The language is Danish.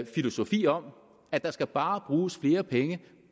filosofi om at der bare skal bruges flere penge